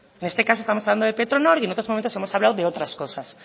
en este caso estamos hablando de petronor y en otros momentos hemos hablado de otras cosas